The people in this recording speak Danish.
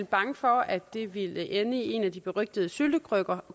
bange for at det ville ende i en af de berygtede syltekrukker